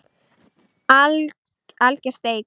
Alger steik